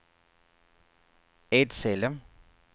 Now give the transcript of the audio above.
Edsele